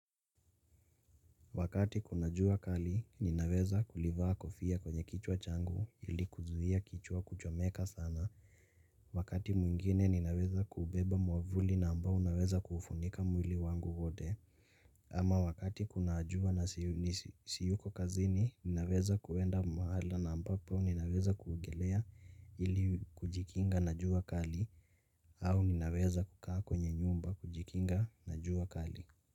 Wakati kuna jua kali, ninaweza kulivaa kofia kwenye kichwa changu ili kuzuhia kichwa kuchomeka sana. Wakati mwingine, ninaweza kuubeba mwavuli na ambao unaweza kufunika mwili wangu wote. Ama wakati kuna jua na siyuko kazini, ninaweza kuenda mahala na ambapo ninaweza kuogelea ili kujikinga na jua kali au ninaweza kukaa kwenye nyumba kujikinga na jua kali.